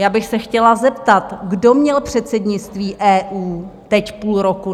Já bych se chtěla zeptat: Kdo měl předsednictví EU teď půl roku?